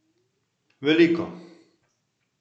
Veliko!